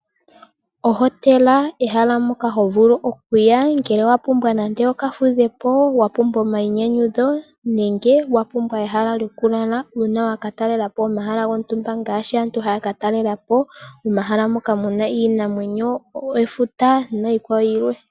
Ohotela ehala moka ho vulu oku ya ngele owa pumbwa nande oka fudhe po, wa pumbwa nande omainyanyudho nenge wa pumbwa ehala lyoku lala, uuna waka talela po omahala gontumba ngaashi aantu haya ka talela po omahala moka muna iinamwenyo, efuta niikwawo yilwe.